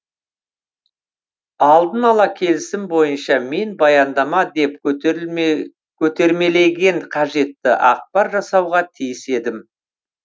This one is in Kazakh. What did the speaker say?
алдынала келісім бойынша мен баяндама деп көтермеленген қажетті ақпар жасауға тиіс едім